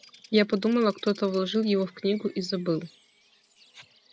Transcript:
я подумала кто-то вложил его в книгу и забыл